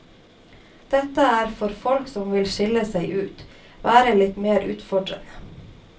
Dette er for folk som vil skille seg ut, være litt mer utfordrende.